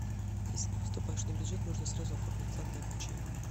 если не поступаешь на бюджет можно сразу оформить платное обучение